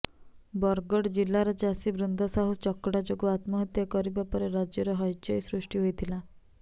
ବରଗଡ଼ ଜିଲ୍ଲାର ଚାଷୀ ବୃନ୍ଦା ସାହୁ ଚକଡ଼ା ଯୋଗୁଁ ଆତ୍ମହତ୍ୟା କରିବା ପରେ ରାଜ୍ୟରେ ହଇଚଇ ସୃଷ୍ଟି ହୋଇଥିଲା